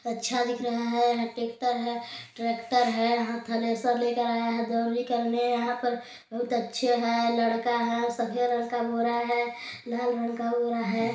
--अच्छा दिख रहा है टेक्टर ट्रैक्टर हाई थ्रेसर ले के आया है बहुत अच्छे है लड़के है सफ़ेद रंग के बोरा है लाल रंग का बोरा है।